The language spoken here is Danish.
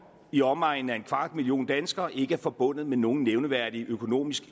i omegnen af en kvart million danskere ikke er forbundet med nogen nævneværdig